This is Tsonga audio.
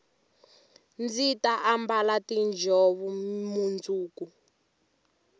ndzi ta ambala tiinjhovo mundzuku